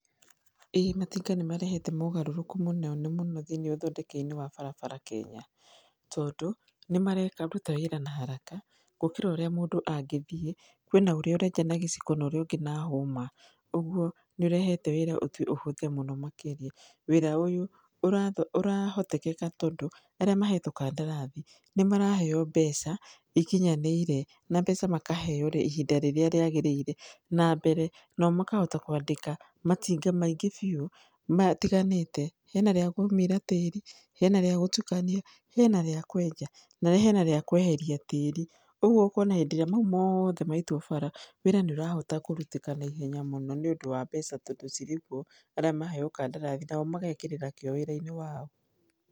ĩĩ matinga nĩ marehete mogarũrũku mũno na mũno thĩiniĩ wa ũthondeki-inĩ wa barabara Kenya. Tondũ nĩ mararuta wĩra na haraka gũkĩra ũrĩa mũndũ angĩthie, kwĩna ũrĩa ũreka nagĩciko na ũrĩa ũngĩ na hũma, ũguo nĩ ĩrehete wĩra ũhũthe mũno makĩria. Wĩra ũyũ ũrahotekeka tondũ arĩa mahetwo kandarathi nĩ maraheo mbeca ikinyanĩire na mbeca makaheo ihinda rĩrĩa rĩagĩrĩire, na mbere nao makahota kwandĩka matinga maingĩ biũ matiganĩte , hena rĩa kũmira tĩri hena rĩa gũtukania, hena rĩa kwenja na hena rĩa kweheria tĩri, ũguo ũkona hĩndĩ ĩrĩa mau mothe maitwo bara, wĩra nĩ ũrahota kũrutĩka na ihenya mũno nĩ ũndũ wa mbeca tondũ cirĩ kuo. Arĩa maheo kandarathi nao magekĩrĩra kĩyo wira-inĩ wao.